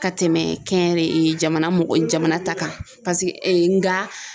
Ka tɛmɛ kɛnyɛrɛ ye jamana mɔgɔ jama ta kan paseke nga.